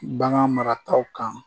Bagan marataw kan